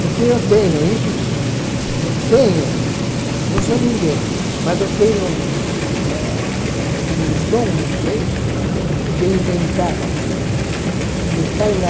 Porque eu tenho isso sim, eu tenho, não sou ninguém, mas eu tenho eh um dom, não sei, de inventar, e me sai na